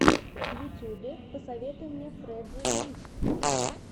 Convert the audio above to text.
в ютюбе посоветуй мне фрэджей гриф